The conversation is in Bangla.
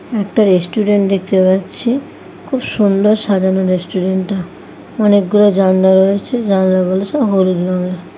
একটা রেস্টুরেন্ট দেখতে পাচ্ছি। খুব সুন্দর সাজানো রেস্টুরেন্ট -টা অনেকগুলো জানলা রয়েছে। জানলা গুলো সব হলুদ রঙের।